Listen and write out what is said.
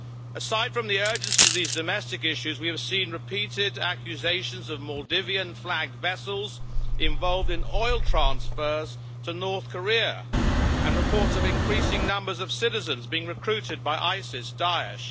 Aside from the urgency of these domestic issues, we have seen repeated accusations of Maldivian flagged vessels involved in oil transfers to North Korea and reports of an increasing numbers of citizens being recruited by ISIS Daesh.